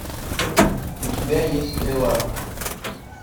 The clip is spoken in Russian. у тебя есть стрела